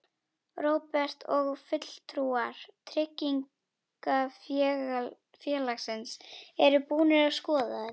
Róbert: Og fulltrúar tryggingafélagsins eru búnir að skoða þetta?